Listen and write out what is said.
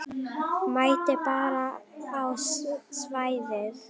Mætti bara á svæðið.